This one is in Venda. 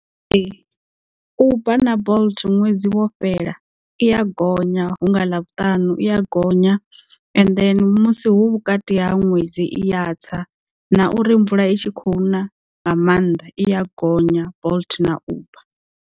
Ee uber na bolt ṅwedzi wo fhela i ya gonya hunga ḽavhutanu i ya gonya ende musi hu vhukati ha ṅwedzi i ya tsa na uri mvula i tshi khou na nga maanḓa i ya gonya bolt na uber.